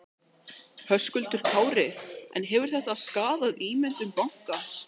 Höskuldur Kári: En hefur þetta skaðað ímynd bankans?